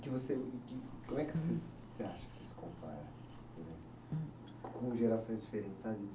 Que você que, como é que você, você acha que você se compara com, com gerações diferentes sabe?